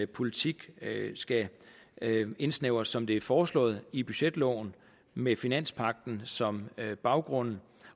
politik skal indsnævres som det er foreslået i budgetloven med finanspagten som baggrund